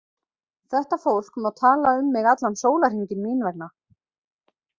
Þetta fólk má tala um mig allan sólarhringinn mín vegna.